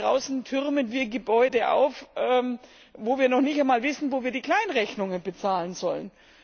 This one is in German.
Draußen türmen wir Gebäude auf, wo wir noch nicht einmal wissen, wo wir die Kleinrechnungen bezahlen sollen.